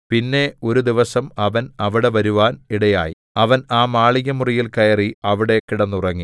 പിന്നെ ഒരു ദിവസം അവൻ അവിടെ വരുവാൻ ഇടയായി അവൻ ആ മാളികമുറിയിൽ കയറി അവിടെ കിടന്നുറങ്ങി